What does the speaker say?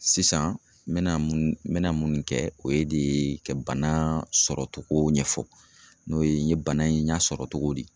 Sisan n mɛna mun, n mɛna munnu kɛ o ye de ka bana sɔrɔ togo ɲɛfɔ n'o ye n ye bana in ɲa sɔrɔ togo di ?